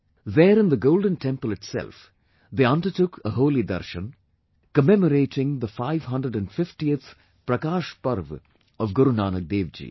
There in the Golden Temple itself, they undertook a holy Darshan, commemorating the 550th Prakash Parv of Guru Nanak Devji